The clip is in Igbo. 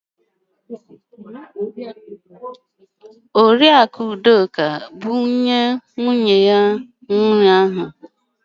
Oriakụ Udoka bu nne nwunye ohuru ahu.